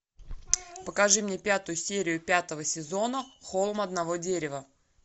покажи мне пятую серию пятого сезона холм одного дерева